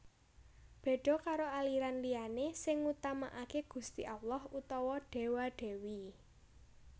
Béda karo aliran liyané sing ngutamakaké Gusti Allah utawa Déwa Dèwi